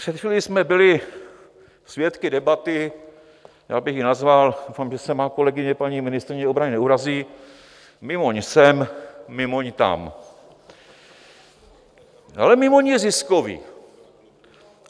Před chvílí jsme byli svědky debaty, já bych ji nazval, doufám, že se má kolegyně paní ministryně obrany neurazí, Mimoň sem, Mimoň tam, ale Mimoň je zisková.